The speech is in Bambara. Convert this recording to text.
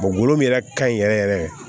min yɛrɛ ka ɲi yɛrɛ yɛrɛ